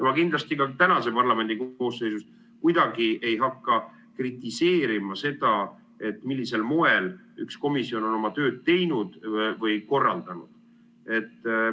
Ma kindlasti ka tänases parlamendikoosseisus kuidagi ei hakka kritiseerima seda, millisel moel üks komisjon on oma tööd teinud või korraldanud.